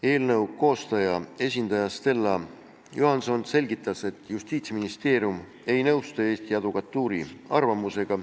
Eelnõu koostaja esindaja Stella Johanson selgitas, et Justiitsministeerium ei nõustu Eesti Advokatuuri arvamusega.